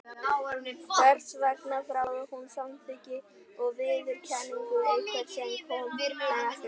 Hvers vegna þráði hún samþykki og viðurkenningu einhvers sem kom henni ekkert við?